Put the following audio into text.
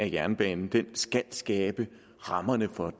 jernbanen skal skabe rammerne for